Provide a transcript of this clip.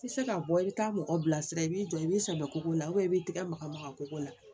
I tɛ se ka bɔ i bɛ taa mɔgɔ bilasira i b'i jɔ i b'i sɛbɛ ko ko la i b'i tɛgɛ maga maga kɔgɔ la